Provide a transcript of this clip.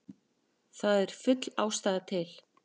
Það er full ástæða til.